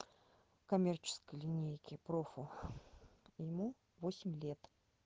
коммерческая линейки профу ему восемь лет